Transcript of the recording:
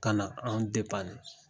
Ka na anw